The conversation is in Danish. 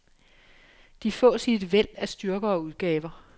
De fås i en væld af styrker og udgaver.